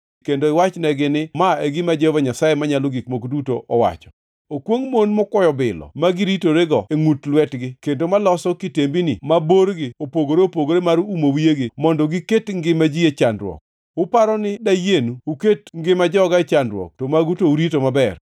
kendo iwachnegi ni, ‘Ma e gima Jehova Nyasaye Manyalo Gik Moko Duto wacho: Okwongʼ mon mokwoyo bilo ma giritorego e ngʼut lwetgi kendo maloso kitembini ma borgi opogore opogore mar umo wiyegi mondo giket ngima ji e chandruok. Uparo ni dayienu uket ngima joga e chandruok to magu to urito maber?